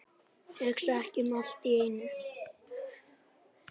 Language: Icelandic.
Hugsa ekki um allt í einu.